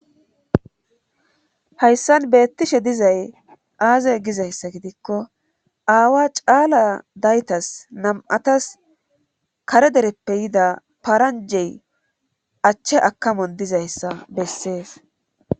hayssan beettishe dizay aazae gizayssa gidikko aawa caala daytas nam7atas kare dereppe yida paranjey achche akamon dizayssa bessees